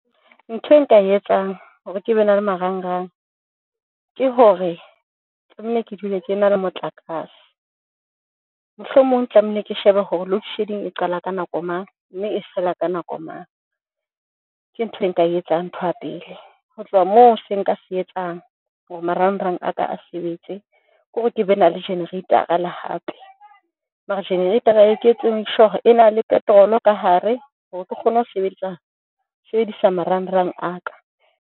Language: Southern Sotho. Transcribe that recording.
Ntho e nka e etsang hore ke be na le marang rang ke hore tlamehile ke dule ke na le motlakase, mohlomong tlamehile ke shebe hore load shedding e qala ka nako mang, mme e fela ka nako mang. Ke ntho e nka e etsang ntho ya pele. Ho tloha moo se nka se etsang hore marang rang a ka a sebetse kore ke be na le jenereitara le hape. Mara jenereitara e ke etse, make sure. E na le petrol ka hare hore ke kgone ho sebedisa sebedisa marang rang a ka.